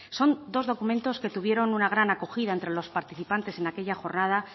son dos documentos que tuvieron una gran acogida entre los participantes en aquella jornada